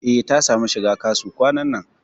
E, ta samu shiga KASU kwanan nan.